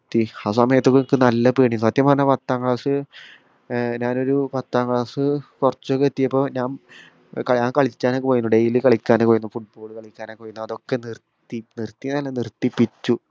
ഉയിശ് ആ സമയത്തൊകനക്ക് നല്ല പേടിന്ന് സത്യം പറഞ്ഞ പത്താം class ഏർ ഞാനൊരു പത്താ class കൊർച്ചൊക്കെ എത്തിയപ്പോ ഞാൻ ഏർ ഞാൻ കളിക്കാനൊക്കെ പോയിന് daily കളിക്കാനൊക്കെ പോയിന് football കളിക്കാനൊക്കെ പോയിനു അതൊക്കെ നിർത്തി നിർത്തിന്നല്ല നിർത്തിപ്പിച്ചു